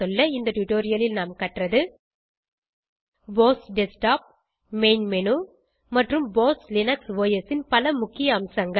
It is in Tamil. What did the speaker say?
இந்த டுடோரியலில் நாம் கற்றது போஸ் டெஸ்க்டாப் மெயின் மேனு மற்றும் போஸ் லினக்ஸ் ஒஸ் ன் பல முக்கிய அம்சங்கள்